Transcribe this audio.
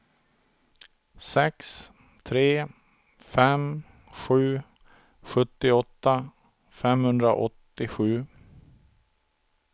sex tre fem sju sjuttioåtta femhundraåttiosju